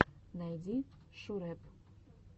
найди шурэп